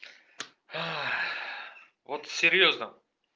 вот серьёзно